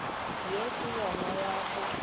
ye ke yona ya go